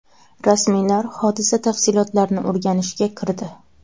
Rasmiylar hodisa tafsilotlarini o‘rganishga kirdi.